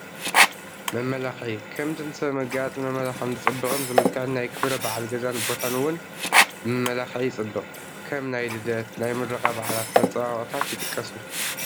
መመላኽዒ፡- ከምቲ ንሰብ ብመጋየፅን መመላኽዕን ዝፅብቕን ዝምልክዕን ናይ ክብረ በዓል ገዛን ቦታን ውን ብመመላኽዒ ይፅብቕ፡፡ ከም ናይ ልደት፣ ናይ ምረቓ በዓላት መፀባበቕታት ይጥቀሱ፡፡